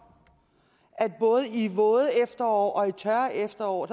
at man både i våde og tørre efterår